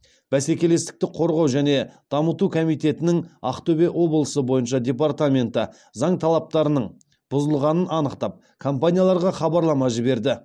бәсекелестікті қорғау және дамыту комитетінің ақтөбе облысы бойынша департаменті заң талаптарының бұзылғанын анықтап компанияларға хабарлама жіберді